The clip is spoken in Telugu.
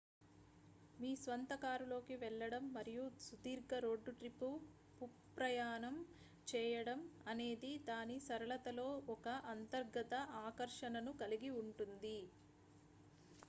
మీ స్వంత కారులో కి వెళ్లడం మరియు సుదీర్ఘ రోడ్డు ట్రిప్ పుప్రయాణం చేయడం అనేది దాని సరళతలో ఒక అంతర్గత ఆకర్షణను కలిగి ఉంటుంది